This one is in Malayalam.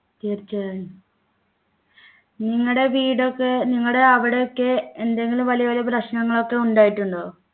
തീർച്ചയായും നിങ്ങടെ വീടൊക്കെ നിങ്ങടെ അവിടെയൊക്കെ എന്തെങ്കിലും വലിയ വലിയ പ്രശ്നങ്ങളൊക്കെ ഉണ്ടായിട്ടുണ്ടോ